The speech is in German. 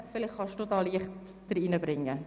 Vielleicht können Sie hier Licht ins Dunkel bringen.